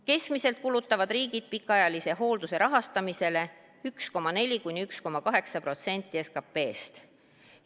Keskmiselt kulutavad riigid pikaajalise hoolduse rahastamisele 1,4–1,8% SKP-st.